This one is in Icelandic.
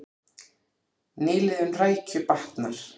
Nýliðun rækju batnar